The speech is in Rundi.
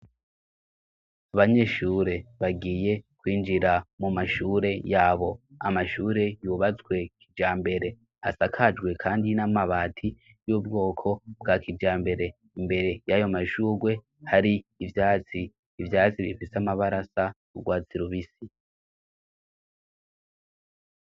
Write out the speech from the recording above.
abanyeshure bagiye kwinjira mu mashure yabo amashure yubatswe kijambere asakajwe kandi n'amabati y'ubwoko bwa kijambere imbere y'ayo mashurwe hari ivyatsi, ivyatsi bifise amabara asa n' ugwatsi rubisi.